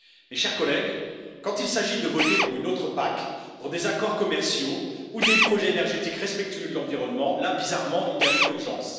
Mes chers collègues, quand il s'agit de voter pour une autre PAC, pour des accords commerciaux ou des projets énergétiques respectueux de l'environnement, là, bizarrement, il n'y a plus d'urgence.